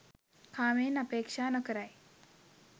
කාමයන් අපේක්‍ෂා නොකරයි